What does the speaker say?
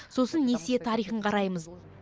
сосын несие тарихын қараймыз